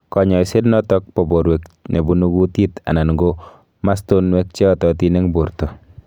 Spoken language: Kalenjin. Kanyaiset nenotok po porwek nebunu kutit anan ko mastonwek cheyatatin eng porto